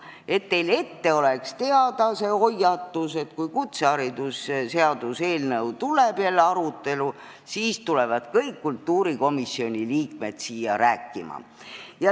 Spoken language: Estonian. Hoiatan teid, et teil oleks teada: kui kutseõppeasutuse seaduse eelnõu tuleb jälle arutelule, siis tulevad kõik kultuurikomisjoni liikmed siia rääkima.